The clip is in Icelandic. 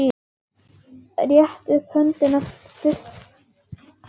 Rétta upp höndina fyrst Þórður.